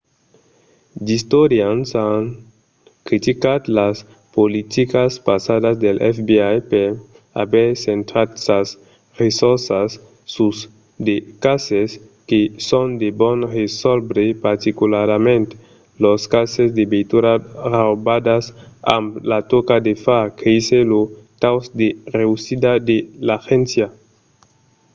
d'istorians an criticat las politicas passadas del fbi per aver centrat sas ressorças sus de cases que son de bon resòlvre particularament los cases de veituras raubadas amb la tòca de far créisser lo taus de reüssida de l'agéncia